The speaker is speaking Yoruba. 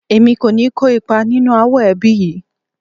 Èmi kò ní kó ipa nínú ááwọ̀ ẹbí yìí